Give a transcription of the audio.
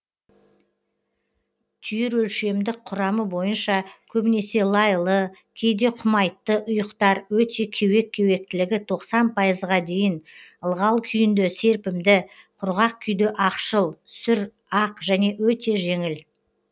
түйір өлшемдік құрамы бойынша көбінесе лайлы кейде құмайтты ұйықтар өте кеуек кеуектілігі тоқсан пайызға дейін ылғал күйінде серпімді құрғақ күйде ақшыл сүр ақ және өте жеңіл